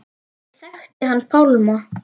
Ég þekkti hann Pálma.